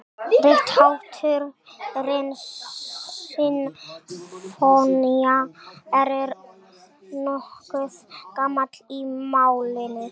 Rithátturinn sinfónía er nokkuð gamall í málinu.